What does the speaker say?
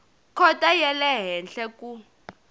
khoto ya le henhla ku